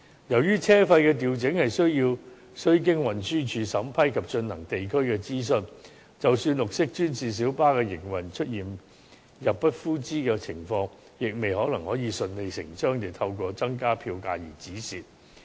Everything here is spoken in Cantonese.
由於車費的調整需經運輸署審批及進行地區諮詢，即使綠色專線小巴的營運出現入不敷支的情況，亦未必可以順理成章地透過增加票價而止蝕。